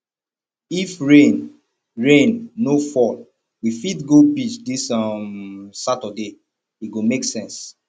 if rain rain no fall we fit go beach dis um saturday e go make sense